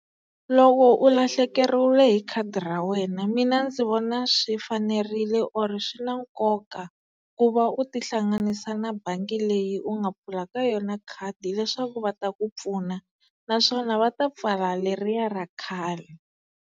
Loko u lahlekeriwile hi khadi ra wena mina ndzi vona swi fanerile or ri swi na nkoka ku va u tihlanganisa na bangi leyi u nga pfula ka yona khadi leswaku va ta ku pfuna naswona va ta pfala leriya ra khale.